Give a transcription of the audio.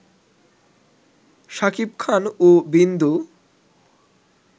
শাকিব খান ও বিন্দু